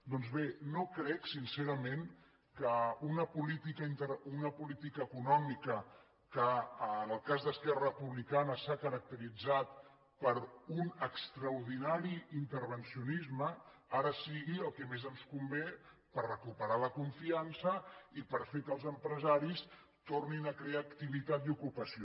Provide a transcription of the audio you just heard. doncs bé no crec sincerament que una política econòmica que en el cas d’esquerra republicana s’ha caracteritzat per un extraordinari intervencionisme ara sigui el que més ens convé per recuperar la confiança i per fer que els empresaris tornin a crear activitat i ocupació